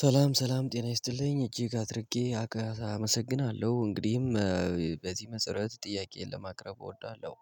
ሰላም ሰላም ጤና ይስጥልኝ እጅግ አድርጌ አመሰግናለሁ እንግዲህም በዚህ መሰረት ጥያቄዬን ለማቅረብ እወዳለሁ።